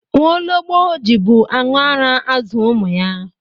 Nwologbo ji bụ anụ ara azụ ụmụ ya.